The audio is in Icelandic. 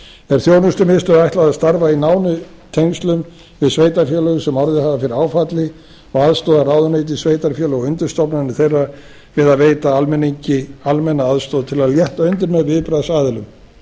er þjónustumiðstöð ætlað að starfa í nánum tengslum við við sveitarfélögin sem orðið hafa fyrir áfalli og aðstoða ráðuneyti sveitarfélög og undirstofnanir þeirra við að veita almenningi almenna aðstoð til að létta undir með viðbragðsaðilum